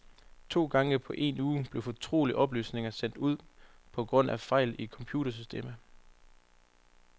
To gange på en uge blev fortrolige oplysninger sendt ud på grund af fejl i computersystemet.